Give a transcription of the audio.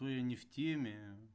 мы не в теме